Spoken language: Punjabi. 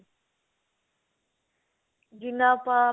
ਜਿੰਨਾ ਆਪਾ